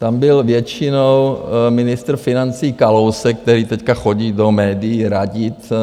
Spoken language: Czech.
Tam byl většinou ministr financí Kalousek, který teď chodí do médií radit.